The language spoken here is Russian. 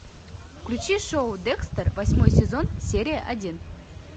включи шоу декстер восьмой сезон серия один